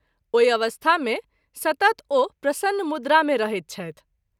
ओहि अवस्था मे सतत ओ प्रसन्न मुद्रा मे रहैत छथि।